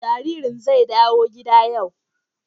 Jaririn zai dawo gida yau